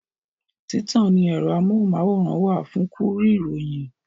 Títàn ní ẹ̀rọ amóhùnmáwòrán wà fún kúrí ìròyìn